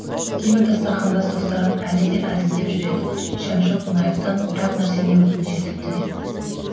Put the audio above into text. кейбір дастарқандас достарым әлі де әзілдеп жүреді шәмші қонаевтан бір ақ нәрсені өтініш етіпті деп